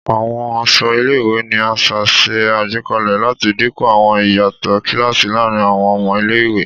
Àwọn aṣọ ilé-ìwé ni aṣa ṣe àgbékalè láti dínkù àwọn ìyàtọ̀ kíláàsì láàrin àwọn ọmọ ilé-ìwé